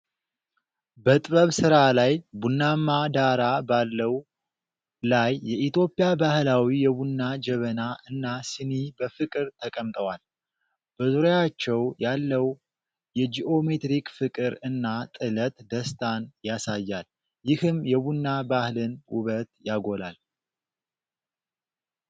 በጥበብ ሥራ ላይ ቡናማ ዳራ ባለው ላይ የኢትዮጵያ ባህላዊ የቡና ጀበና እና ሲኒ በፍቅር ተቀምጠዋል። በዙሪያቸው ያለው የጂኦሜትሪክ ፍቅር እና ጥለት ደስታን ያሳያል፤ ይህም የቡና ባህልን ውበት ያጎላል።